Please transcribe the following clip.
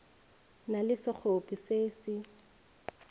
na le sekgopi se se